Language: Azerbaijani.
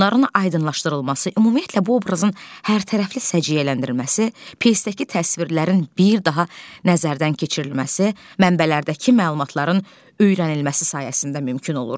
Bunların aydınlaşdırılması, ümumiyyətlə bu obrazın hərtərəfli səciyyələndirilməsi, pyesdəki təsvirlərin bir daha nəzərdən keçirilməsi, mənbələrdəki məlumatların öyrənilməsi sayəsində mümkün olur.